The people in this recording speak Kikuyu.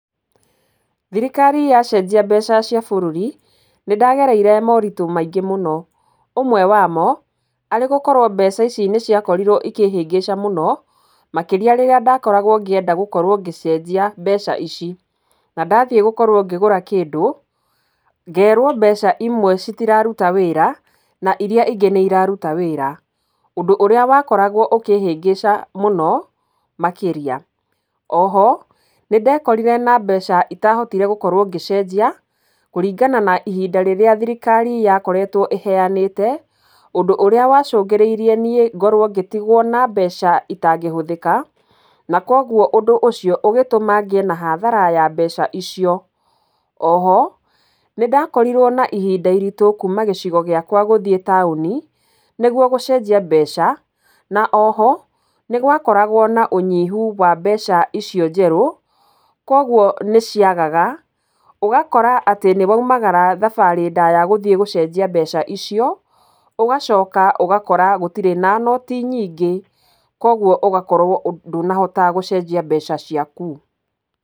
Thirikari yacenjia mbeca cia bũrũri nĩragereire moritu maingĩ mũno. Ũmwe wamo arĩ gũkorwo mbeca ici nĩ ciakorirwo ikĩhĩngĩca mũno makĩria rĩrĩa ndakoragwo ngĩenda gũcenjia mbeca ici. Na ndathiĩ gũkorwo ngĩgũra kĩndũ ngerwo mbeca imwe citiraruta wĩra na irĩa ingĩ ni ciraruta wĩra. Ũndũ ũrĩa wakoragwo ũkĩhĩngĩca mũno makĩria. O ho nĩ ndekorire na mbeca itahotire gũkorwo ngĩenjia kũringana na ihinda rĩrĩa thirikari yakoretwo ĩheanĩte. Ũndũ ũrĩa wacũngĩrĩirie niĩ ngorwo ngĩtigwo na mbeca itangĩhũthĩka, na kwoguo ũndũ ũcio ũgĩtũma ngĩe na hathara ya mbeca icio. O ho nĩ ndakorirwo na ihinda iritũ kuuma gĩcigo gĩakwa gũthiĩ taũni nĩguo gũcenjia mbeca na o ho nĩ gwakoragwo na ũnyihu wa mbeca icio njerũ. Koguo nĩ ciagaga, ũgakora atĩ nĩ woimagara thabarĩ ndaya gũthiĩ gũcenjia mbeca icio, ũgacoka ũgakora gũtirĩ na noti nyingĩ, koguo ũgakorwo ndũnahota gũcenjia mbeca ciaku.